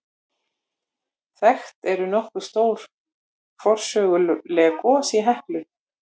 Þekkt eru nokkur stór forsöguleg gos í Heklu.